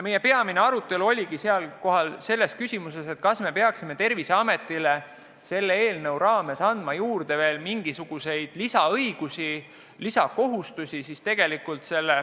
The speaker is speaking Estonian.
Meie peamine arutelu oligi küsimuses, kas me peaksime Terviseametile selle eelnõuga andma juurde veel mingisuguseid lisaõigusi või lisakohustusi.